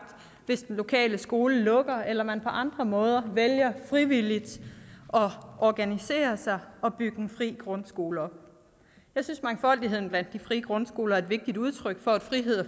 hvis den lokale skole lukker eller man på andre måder vælger frivilligt at organisere sig og bygge en fri grundskole op jeg synes mangfoldigheden blandt de frie grundskoler er et vigtigt udtryk for at frihed og